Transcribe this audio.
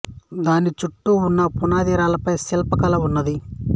దాని చుట్టు ఉన్న పునాది రాళ్ల పై శిల్ప కళ ఉన్నది